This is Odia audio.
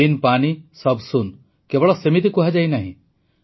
ବିନ୍ ପାନି ସବ୍ ସୁନ୍ କେବଳ ସେମିତି କୁହାଯାଇନାହିଁ